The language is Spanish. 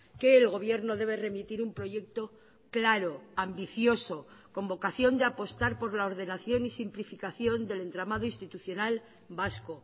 que el gobierno debe remitir un proyecto claro ambicioso con vocación de apostar por la ordenación y simplificación del entramado institucional vasco